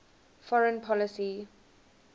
foreign policy